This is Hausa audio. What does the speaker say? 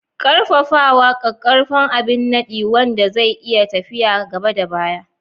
Ƙarfafawa: Ƙaƙƙarfan abin nadi wanda zai iya tafiya gaba da baya.